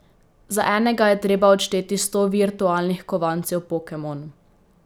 Za enega je treba odšteti sto virtualnih kovancev Pokemon.